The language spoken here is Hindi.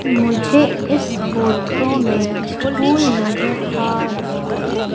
मुझे इस फोटो में स्कूल नजर आ रहा है।